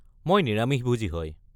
মই নিৰামিষভোজী হয়।